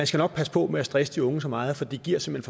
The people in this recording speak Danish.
skal passe på med at stresse de unge så meget for det giver simpelt